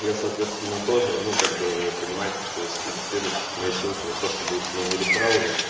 я соответственно тоже ну как бы вы понимаете что ессли регистрируетесь по моей ссылке вы просто будь моими рефералами